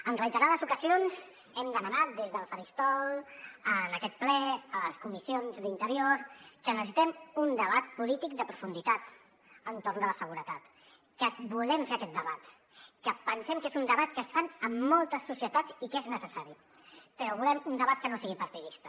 en reiterades ocasions hem demanat des del faristol en aquest ple a les comissions d’interior que necessitem un debat polític de profunditat entorn de la seguretat que volem fer aquest debat que pensem que és un debat que es fa en moltes societats i que és necessari però volem un debat que no sigui partidista